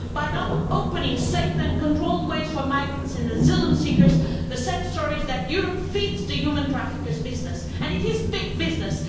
By not opening safe and controlled ways for migrants and asylum seekers, the sad story is that Europe feeds the human traffickers business, and it is big business!